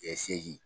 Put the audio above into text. segi